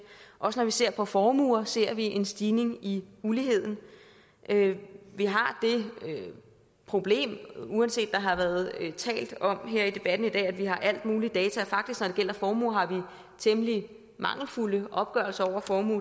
også når vi ser på formuer ser vi en stigning i uligheden vi har et problem uanset at har været talt om at vi har alle mulige data for faktisk når det gælder formue har vi temmelig mangelfulde opgørelser over formue